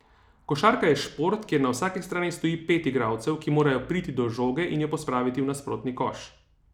Košarka je šport, kjer na vsaki strani stoji pet igralcev, ki morajo priti do žoge in jo pospraviti v nasprotni koš.